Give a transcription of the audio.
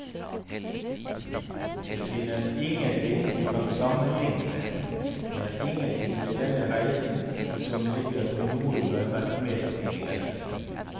Det finnes ingenting du kan sammenligne med, det er ingenting ved denne reisen som ligner på noe du har vært med på tidligere.